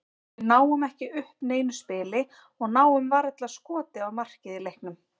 Við náum ekki upp neinu spili og náum varla skoti á markið í leiknum.